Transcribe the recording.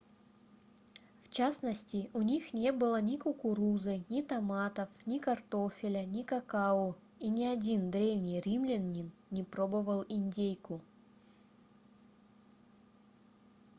в частности у них не было ни кукурузы ни томатов ни картофеля ни какао и ни один древний римлянин не пробовал индейку